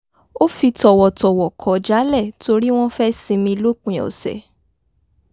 ó fi tọ̀wọ̀tọ̀wọ̀ kọ̀ jálẹ̀ torí wọ́n fẹ́ sinmi lòpin ọ̀sẹ̀